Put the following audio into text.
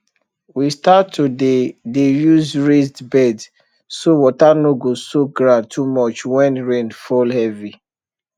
we start to dey dey use raised beds so water no go soak ground too much when rain fall heavy